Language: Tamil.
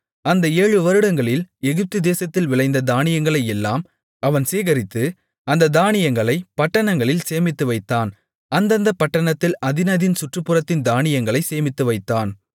அந்த ஏழு வருடங்களில் எகிப்துதேசத்தில் விளைந்த தானியங்களையெல்லாம் அவன் சேகரித்து அந்தத் தானியங்களைப் பட்டணங்களில் சேமித்துவைத்தான் அந்தந்தப் பட்டணத்தில் அதினதின் சுற்றுப்புறத்து தானியங்களைச் சேமித்துவைத்தான்